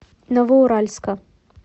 новоуральска